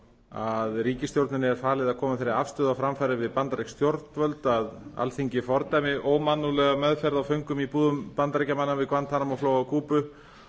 að ríkisstjórninni er falið að koma þeirri afstöðu á framfæri við bandarísk stjórnvöld að alþingi fordæmi ómannúðlega meðferð á föngum í búðum bandaríkjamanna við guantanamo flóa á kúbu